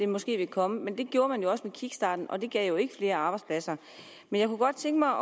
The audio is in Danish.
måske vil komme men det gjorde man jo også kickstarten og det gav ikke flere arbejdspladser men jeg kunne godt tænke mig